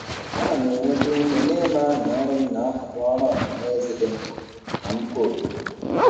A na m enweta ume n'ịmara na ọrụ m na-akwado ọrụ ọha na eze dị mkpa na mkpa obodo.